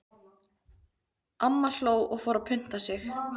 Amma hló og fór að punta sig.